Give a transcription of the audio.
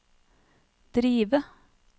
drive